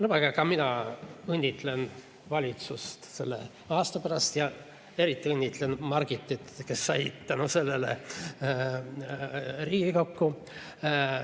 Lubage ka mul õnnitleda valitsust selle aasta eest ja eriti õnnitlen Margitit, kes sai tänu sellele Riigikokku.